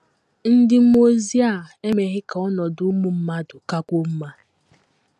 Ndị mmụọ ozi a emeghị ka ọnọdụ ụmụ mmadụ kakwuo mma.